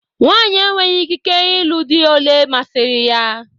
Nwaanyị enweghị ikike ịlụ di olé masiri ya